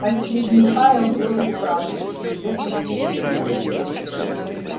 последний файл был и вправду илье посвящён